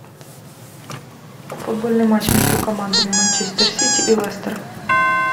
футбольный матч между командами манчестер сити и лестер